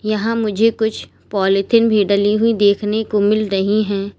यहां मुझे कुछ पालीथीन भी डाली हुई देखने को मिल रही है।